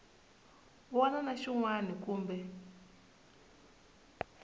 wana na xin wana kumbe